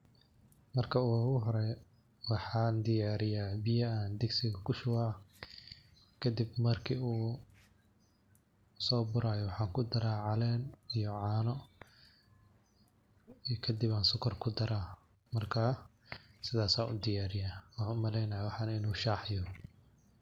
Marka ugu hore waxaan diyariyaa biya an digsiga kushubaah, kadib marki uu so burayo waxaan kudaraah calen iyo caano, kadib an sokor kudaraah marka sidas an u diyariyaah . Waxaan umaleynayaa waxaan in uu shah yaho.